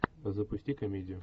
запусти комедию